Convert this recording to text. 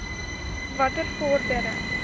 watter vordering